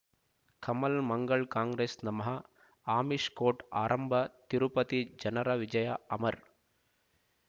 ಕಮಲ್ ಮಂಗಳ್ ಕಾಂಗ್ರೆಸ್ ನಮಃ ಅಮಿಷ್ ಕೋರ್ಟ್ ಆರಂಭ ತಿರುಪತಿ ಜನರ ವಿಜಯ ಅಮರ್